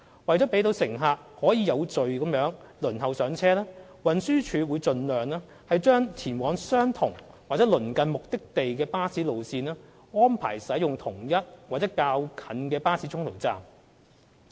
為了讓乘客可以有序地輪候上車，運輸署會盡量安排，讓前往相同或鄰近目的地的巴士路線使用同一或較近的巴士中途站。